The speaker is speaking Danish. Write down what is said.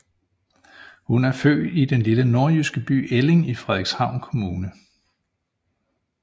Hun er født i den lille nordjyske by Elling i Frederikshavn Kommune